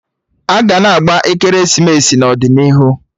Aga na-agba ekeresimesi n'ọdịnihu